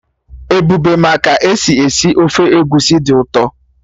Ebube ma ka-esi esi ofe egusi dị ụtọ